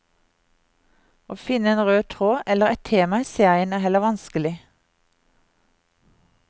Å finne en rød tråd eller et tema i serien er heller vanskelig.